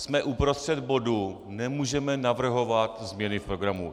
Jsme uprostřed bodu, nemůžeme navrhovat změny v programu.